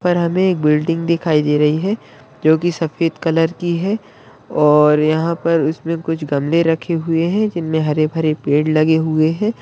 और हमें एक बिल्डिंग दिखाई दे रही है जो की सफेद कलर की है और यहाँ पर उसमें कुछ गमले रखे हुऐ हैं जिनमें हरे भरे पेड़ लगे हुये हैं।